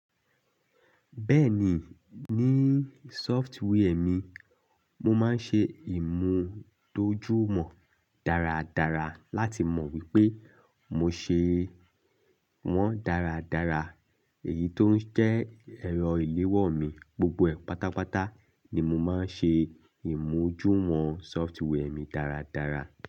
Bẹ́ẹ̀ ni, ní software mi, mo máa ń ṣe ìmùtójú wọn dáradára láti mọ wípé mo ṣe wọ́n dáradára. Èyí tó ń jẹ́ ẹ̀rọ ìléwọ́ mi gbogbo ẹ̀ pátápátá ni mo máa ń ṣe ìmújú wọn software mi dáradára.